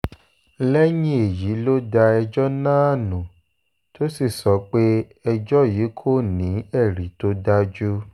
lẹ́yìn èyí ló da ẹjọ́ náà nù tó sì sọ pé ẹjọ́ yìí kò ní ẹ̀rí tó dájú